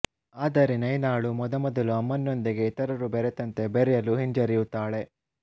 ಆದರೆ ನೈನಾಳು ಮೊದಮೊದಲು ಅಮನ್ ನೊಂದಿಗೆ ಇತರರು ಬೆರತಂತೆ ಬೆರ್ಯಲು ಹಿಂಜರಿಯುತ್ತಾಳೆ